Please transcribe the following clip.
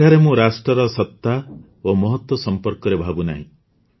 ଏଠାରେ ମୁଁ ରାଷ୍ଟ୍ରର ସତା ଓ ମହତ୍ୱ ସମ୍ପର୍କରେ ଭାବୁନାହିଁ